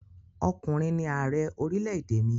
Ọkùnrin ni ààrẹ orílẹ̀-èdè mi.